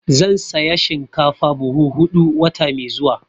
Zan saya shinkafa buhu huɗu wata mai zuwa.